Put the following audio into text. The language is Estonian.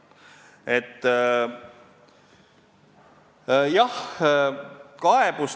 Jah.